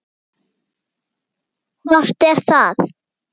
Hvort er það?